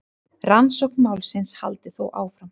Rannsókn málsins haldi þó áfram.